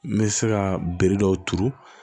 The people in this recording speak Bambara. N bɛ se ka bere dɔw turu